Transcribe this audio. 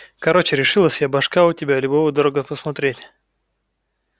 короче решилась я башка у тебя любого дорого посмотреть